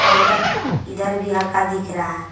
Counter इधर भी हल्का दिख रहा।